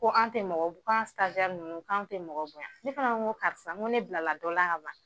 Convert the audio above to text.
Ko an tɛ mɔgɔ ko an ninnu k'an tɛ mɔgɔ bonyan, ne fana ko karisa ko ne bilala dɔ la ka ban.